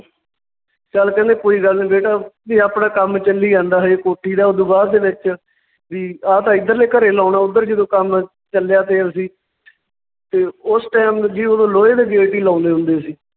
ਚੱਲ ਕਹਿੰਦੇ ਕੋਈ ਗੱਲ ਨੀ ਬੇਟਾ ਵੀ ਆਪਣਾ ਕੰਮ ਚੱਲੀ ਜਾਂਦਾ ਹਜੇ ਕੋਠੀ ਦਾ ਓਦੂ ਬਾਅਦ ਦੇ ਵਿੱਚ ਵੀ ਆਹ ਤਾਂ ਇੱਧਰਲੇ ਘਰੇ ਲਾਉਣਾ ਉਧਰ ਜਦੋਂ ਕੰਮ ਚੱਲਿਆ ਤੇ ਅਸੀਂ ਤੇ ਉਸ time ਜੀ ਉਦੋਂ ਲੋਹੇ ਦਾ gate ਹੀ ਲਾਉਂਦੇ ਹੁੰਦੇ ਸੀ